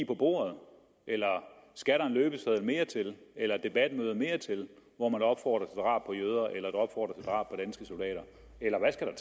på bordet eller skal der en løbeseddel mere til eller et debatmøde mere til hvor man opfordrer på jøder eller opfordrer